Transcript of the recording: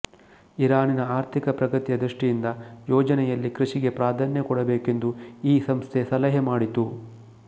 ಇರಾನಿನ ಆರ್ಥಿಕ ಪ್ರಗತಿಯ ದೃಷ್ಟಿಯಿಂದ ಯೋಜನೆಯಲ್ಲಿ ಕೃಷಿಗೆ ಪ್ರಧಾನ್ಯ ಕೊಡಬೇಕೆಂದು ಈ ಸಂಸ್ಥೆ ಸಲಹೆ ಮಾಡಿತು